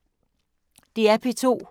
DR P2